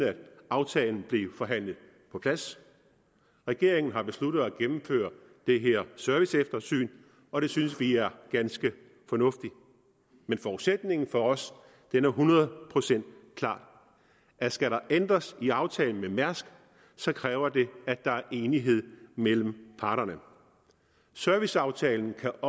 aftalen blev forhandlet på plads regeringen har besluttet at gennemføre det her serviceeftersyn og det synes vi er ganske fornuftigt men forudsætningen for os er hundrede procent klar skal der ændres i aftalen med mærsk kræver det at der er enighed mellem parterne serviceaftalen kan